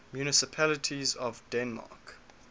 municipalities of denmark